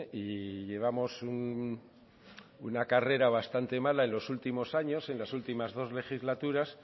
y llevamos una carrera bastante mala en los últimos años en las últimas dos legislaturas